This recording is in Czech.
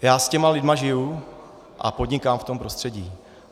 Já s těmi lidmi žiju a podnikám v tom prostředí.